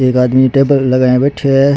एक आदमी टेबल लगाए बैठयो है।